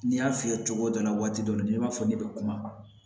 N y'a f'i ye cogo dɔ la waati dɔ la ni i b'a fɔ ne bɛ kuma